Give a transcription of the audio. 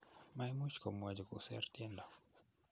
maimuch komwochi kuser tiendo